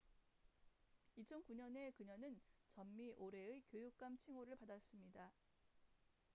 2009년에 그녀는 전미 올해의 교육감 칭호를 받았습니다